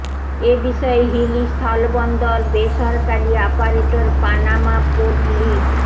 এ বিষয়ে হিলি স্থলবন্দর বেসরকারি আপারেটর পানামা পোর্ট লি